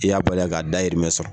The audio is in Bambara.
I y'a bali k'a da hirimɛ sɔrɔ.